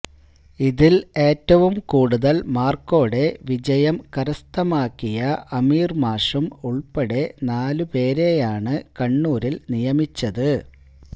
ഇതില് ഏറ്റവും കൂടുതല് മാര്ക്കോടെ വിജയം കരസ്ഥമാക്കിയഅമീര് മാഷും ഉള്പ്പെ ഉള്പ്പെടെ നാല് പേരെയാണ് കണ്ണൂരില് നിയമിച്ചത്